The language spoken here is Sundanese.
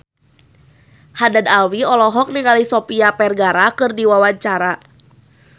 Haddad Alwi olohok ningali Sofia Vergara keur diwawancara